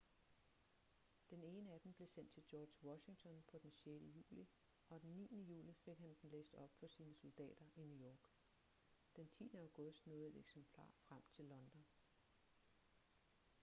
den ene af dem blev sendt til george washington på den 6. juli og den 9. juli fik han den læst op for sine soldater i new york den 10. august nåede et eksemplar frem til london